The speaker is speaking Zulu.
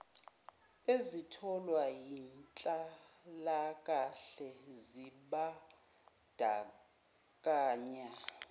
ezitholwa yinhlalakahle zimbandakanya